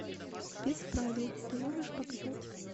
без правил ты можешь показать